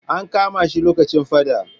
An kama shi lokacin faɗa.